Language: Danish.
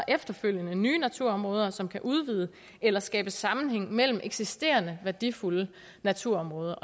efterfølgende om nye naturområder som kan udvide eller skabe sammenhæng mellem eksisterende værdifulde naturområder